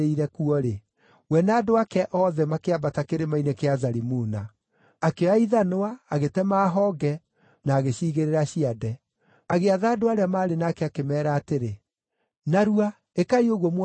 we na andũ ake othe makĩambata Kĩrĩma-inĩ gĩa Zalimuna. Akĩoya ithanwa, agĩtema honge, na agĩciigĩrĩra ciande. Agĩatha andũ arĩa maarĩ nake, akĩmeera atĩrĩ, “Narua! Ĩkai ũguo muona ndeka!”